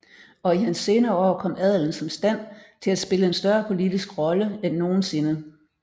Og i hans senere år kom adelen som stand til at spille en større politisk rolle end nogen sinde